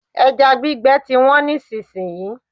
Ẹja gbígbẹ ti wọ́n nísìsiyìí.